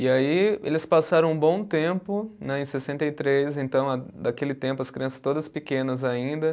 E aí eles passaram um bom tempo né, em sessenta e três, então a daquele tempo as crianças todas pequenas ainda.